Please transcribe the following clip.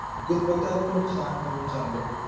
ਗੁਣਵੱਤਾ ਨੂੰ ਨੁਕਸਾਨ ਪਹੁੰਚਾਉਂਦੇ ਹਨ।